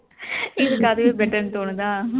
இதுக்கு அதுவே better ன்னு தோணுதா